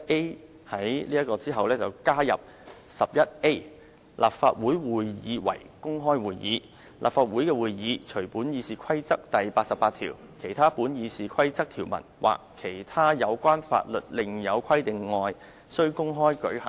我建議在第11條之後加入有關 "11A. 立法會會議為公開會議"的條文，規定"立法會的會議，除本議事規則第88條、其他本議事規則條文或其他有關法律另有規定外，須公開舉行。